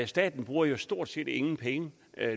staten bruger stort set ingen penge